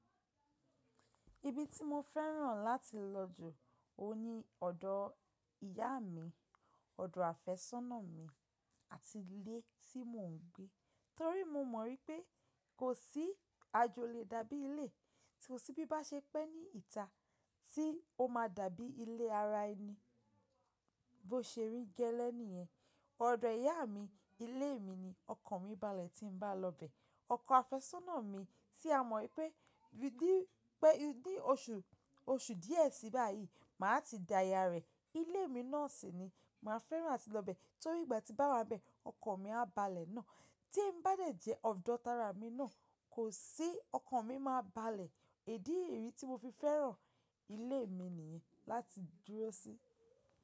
Ibi tí mo fẹ́ràn láti lọ jù ó ní ọ̀dọ̀ ìyá mi, ọ̀dọ̀ àfẹ́sọ́nà mi àti ilé tí mò ń gbé. Torí mo mọ̀ wípé kò sí ajo o lè dàbí ilé, tí ó sì bi n ba ṣe pẹ́ ní ìta tí ó máa dàbí ilé ara ẹni bó ṣe rí gẹ́lẹ́ nìyẹn. Ọ̀dọ̀ ìyá mi, ilé mi ni ọkàn mi balẹ̀ tí ń bá lọ bẹ. Ọkọ àfẹ́sọ́nà mi tí a mọ wípé ní oṣù díẹ̀ sí báyìí máa ti dáyà rẹ̀, ilé mi náà sì ni màá fẹ́ràn láti lọ bẹ́. Torí ìgbà tí n bá wá n bẹ, ọkàn mi á balẹ̀ náà. Tí n bá dẹ̀ jẹ́ ọ̀dọ̀ tárà mi náà, kò sí ọkàn mi máa balẹ̀. Idí rí yii tí mo fi fẹ́ràn ilé mi nìyẹn láti dúró sí.